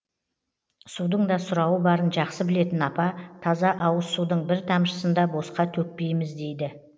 судың да сұрауы барын жақсы білетін апа таза ауыз судың бір тамшысын да босқа төкпейміз дейді